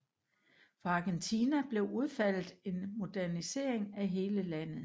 For Argentina blev udfaldet en modernisering af hele landet